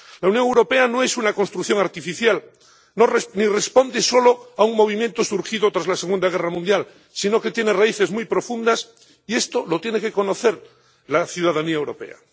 La Unión Europea no es una construcción artificial, ni responde solo a un movimiento surgido tras la Segunda Guerra Mundial, sino que tiene raíces muy profundas, y esto lo tiene que conocer la ciudadanía europea.